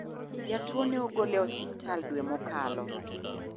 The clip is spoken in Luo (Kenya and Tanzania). Jatuo ne ogol e osiptal dwe mokalo.